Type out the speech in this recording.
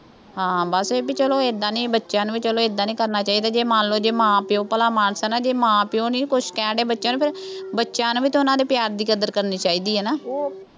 ਹਾਂ ਬੱਸ ਇਹ ਬਈ ਚੱਲੋ ਏਦਾਂ ਨਹੀਂ ਬੱਚਿਆਂ ਨੂੰ ਬਈ ਚੱਲੋ ਏਦਾਂ ਨਹੀਂ ਕਰਨਾ ਚਾਹੀਦਾ, ਜੇ ਮੰਨ ਲਉ, ਜੇ ਮਾਂ ਪਿਉ ਭਲਾਮਾਣਸ ਹੈ ਨਾ, ਜੇ ਮਾਂ-ਪਿਉ ਨਹੀਂ ਕੁੱਛ ਕਹਿਣ ਡੇ ਬੱਚਿਆਂ ਨੂੰ ਫੇਰ, ਬੱਚਿਆਂ ਨੂੰ ਵੀ ਤਾਂ ਉਹਨਾ ਦੇ ਪਿਆਰ ਦੀ ਕਦਰ ਕਰਨੀ ਚਾਹੀਦੀ ਹੈ ਨਾ